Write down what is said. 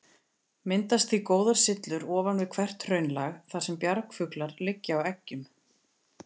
Myndast því góðar syllur ofan við hvert hraunlag, þar sem bjargfuglar liggja á eggjum.